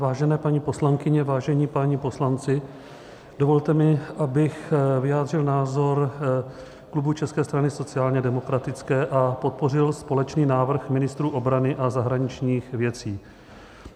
Vážené paní poslankyně, vážení páni poslanci, dovolte mi, abych vyjádřil názor klubu České strany sociálně demokratické a podpořil společný návrh ministrů obrany a zahraničních věcí.